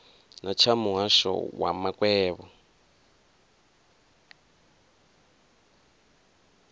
na tsha muhasho wa makwevho